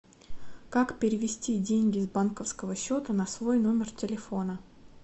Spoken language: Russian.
как перевести деньги с банковского счета на свой номер телефона